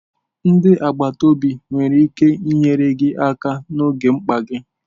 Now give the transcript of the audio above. Ndi agbata obi nwere ike inyere gị aka n'oge mkpa gị.